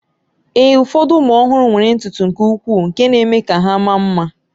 Ee, ụfọdụ ụmụ ọhụrụ nwere ntutu nke ukwuu nke na-eme ka ha maa mma